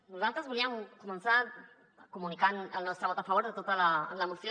nosaltres volíem començar comunicant el nostre vot a favor de tota la moció